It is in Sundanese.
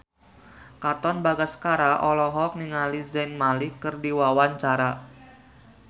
Katon Bagaskara olohok ningali Zayn Malik keur diwawancara